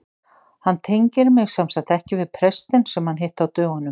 Hann tengir mig semsagt ekki við prestinn sem hann hitti á dögunum.